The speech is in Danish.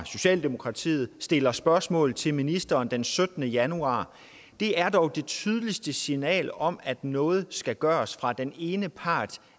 socialdemokratiet stillede et spørgsmål til ministeren den syttende januar det er dog det tydeligste signal om at noget skal gøres fra den ene part